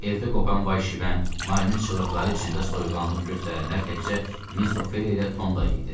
Evdə qopan vay-şivən, Marinin çığırtıları içində soyuqqanlılıq göstərənlər təkcə Miss Ophelia ilə Tom idi.